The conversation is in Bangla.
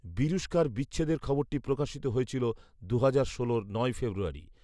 বিরুষ্কার বিচ্ছেদের খবরটি প্রকাশিত হয়েছিল দুহাজার ষোলর নয়ই ফেব্রুয়ারি